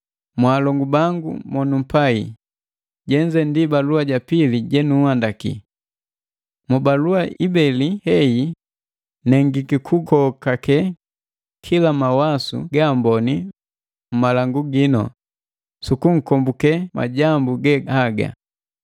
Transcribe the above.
Mwaalongu bangu banumpai, jenze ndi balua ja pili jenunhandaki. Mubalua ibeli heyi nengiki kukokake kila mawasu ga amboni mmalangu ginu sukunkombuke majambu ge haga.